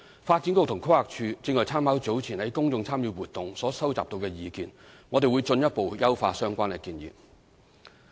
發展局和規劃署正參考早前在公眾參與活動所收集到的意見，我們會進一步優化相關建議。